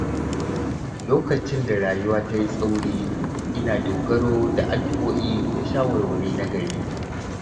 Lokacin da rayuwa ta yi tsauri, ina dogaro da addu’o'i da shawarwari nagari.